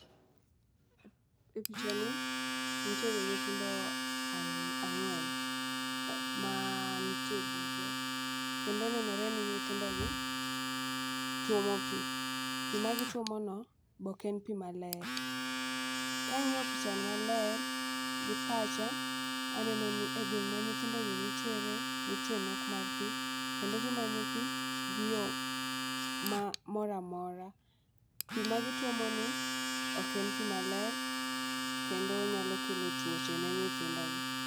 E picha ni nitiere nyithindo ari ang'wen ma nitie bugo kendo nenore ni nyithindo gi tuomo pii. Pii ma gituomo no bok en pii maler. Kang'iyo picha ni maler gi pacha, aneno ni e gweng' ma nyithindo gi nitiere nitie nok mar pii kendo gimanyo pii gi yoo ma moramora. Pii ma gituomo ni ok en pii maler kendo nyalo kelo tuoche ne nyithindo gi.